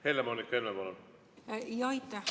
Helle-Moonika Helme, palun!